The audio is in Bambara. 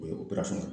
O ye